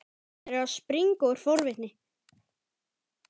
Hann er að springa úr forvitni.